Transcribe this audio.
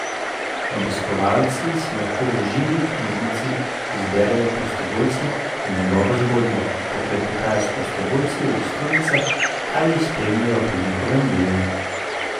Obiskovalci si lahko v Živi knjižnici izberejo prostovoljca in njegovo zgodbo, poklepetajo s prostovoljci ob stojnicah ali jih spremljajo pri njihovem delu.